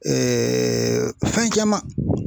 fɛn caman